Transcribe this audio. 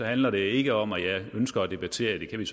handler det ikke om at jeg ønsker at debattere det kan vi